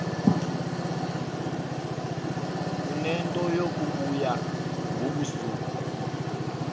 unento yokubuya ngobusuku